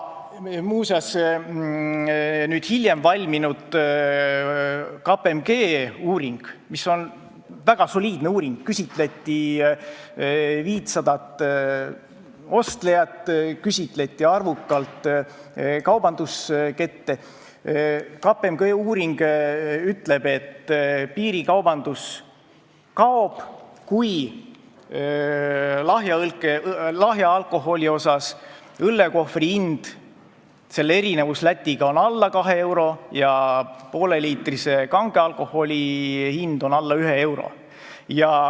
Muuseas, hiljem valminud KPMG uuring – see on väga soliidne uuring, küsitleti 500 ostlejat ja arvukalt kaubanduskette – ütleb, et piirikaubandus kaob, kui õllekohvri hind erineb Läti hinnast vähem kui 2 eurot ja pooleliitrise kange alkoholi hind alla 1 euro.